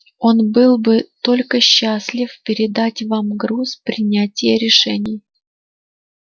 он был бы только счастлив передать вам груз принятия решений